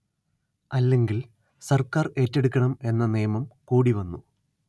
അല്ലെങ്കിൽ സർക്കാർ ഏറ്റെടുക്കണം എന്ന നിയമം കൂടി വന്നു